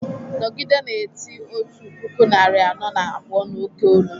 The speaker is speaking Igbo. nọgide na-eti otu puku narị anọ na abụọ n’oké olu!